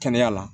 Kɛnɛya la